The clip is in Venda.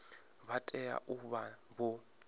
vha tea u vha vho